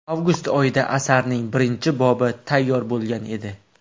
Avgust oyida asarning birinchi bobi tayyor bo‘lgan edi.